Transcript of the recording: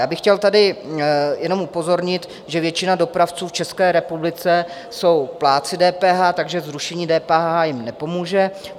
Já bych chtěl tady jenom upozornit, že většina dopravců v České republice jsou plátci DPH, takže zrušení DPH jim nepomůže.